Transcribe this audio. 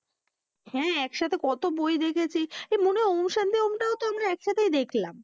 হ্যাঁ একসাথে কত বই দেখেছি। এই মনে হয় ওম শান্তি ওম টাও তো আমরা একসাথে দেখলাম।